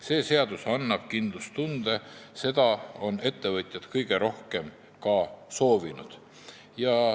See seadus annab kindlustunde, seda ongi ettevõtjad kõige rohkem soovinud.